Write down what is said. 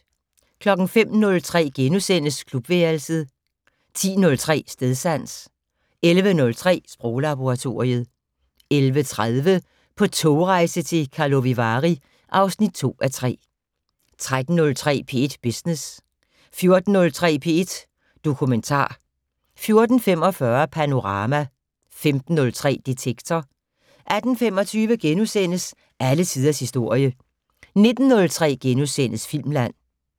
05:03: Klubværelset * 10:03: Stedsans 11:03: Sproglaboratoriet 11:30: På togrejse til Karlovy Vary (2:3) 13:03: P1 Business 14:03: P1 Dokumentar 14:45: Panorama 15:03: Detektor 18:25: Alle tiders historie * 19:03: Filmland *